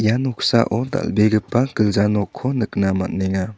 ia noksao dal·begipa gilja nokko nikna man·enga.